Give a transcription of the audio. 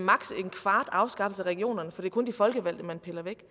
en kvart afskaffelse af regionerne for det er kun de folkevalgte man piller væk